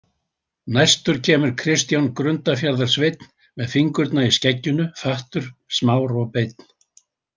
Næstur kemur Kristján Grundafjarðarsveinn með fingurna í skegginu, fattur, smár og beinn.